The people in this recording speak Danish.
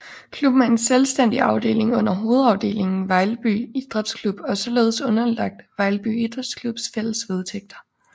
Klubben er en selvstændig afdeling under hovedafdelingen Vejlby Idræts Klub og er således underlagt Vejlby Idræts Klubs fælles vedtægter